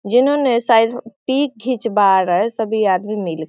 जिन्होंने शायद पिक घीचवा रहा हैं सभी आदमी मिल के --